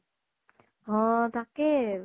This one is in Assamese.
অ তাকেই